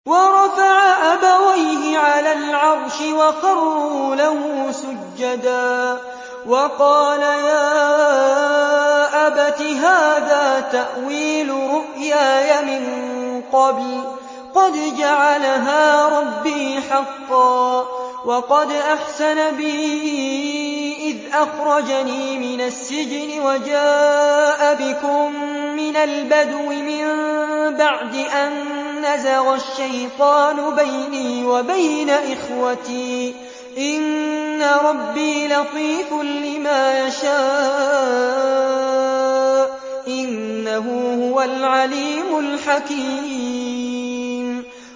وَرَفَعَ أَبَوَيْهِ عَلَى الْعَرْشِ وَخَرُّوا لَهُ سُجَّدًا ۖ وَقَالَ يَا أَبَتِ هَٰذَا تَأْوِيلُ رُؤْيَايَ مِن قَبْلُ قَدْ جَعَلَهَا رَبِّي حَقًّا ۖ وَقَدْ أَحْسَنَ بِي إِذْ أَخْرَجَنِي مِنَ السِّجْنِ وَجَاءَ بِكُم مِّنَ الْبَدْوِ مِن بَعْدِ أَن نَّزَغَ الشَّيْطَانُ بَيْنِي وَبَيْنَ إِخْوَتِي ۚ إِنَّ رَبِّي لَطِيفٌ لِّمَا يَشَاءُ ۚ إِنَّهُ هُوَ الْعَلِيمُ الْحَكِيمُ